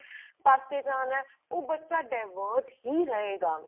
ਪਾਸੇ ਜਾਣਾ ਉਹ ਬੱਚਾ ਹੀ ਰਹੇ ਗਾ